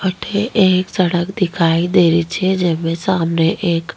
अठे एक सड़क दिखाई दे री छे जेमे सामने एक --